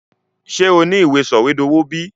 Sé o ni ìwé sọ̀wédowó bi?